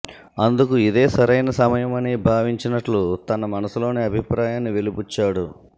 అందు కు ఇదే సరైన సమయమని భావించినట్టు తన మనసులోని అభిప్రాయాన్ని వెలిబుచ్చాడు